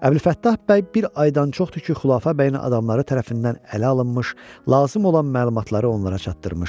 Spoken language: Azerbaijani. Əbülfəttah bəy bir aydan çoxdur ki, Xülafə bəyin adamları tərəfindən ələ alınmış, lazım olan məlumatları onlara çatdırmışdı.